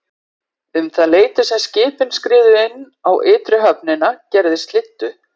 Um það leyti sem skipin skriðu inn á ytri höfnina gerði slyddu.